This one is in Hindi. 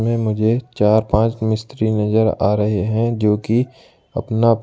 मुझे चार पांच मिस्त्री नजर आ रहे हैं जो कि अपना अपना--